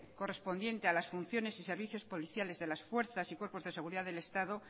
correspondiente a las funciones y servicios policiales de las fuerzas y cuerpos de seguridad del estado